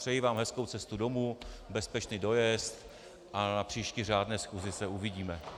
Přeji vám hezkou cestu domů, bezpečný dojezd a na příští řádné schůzi se uvidíme.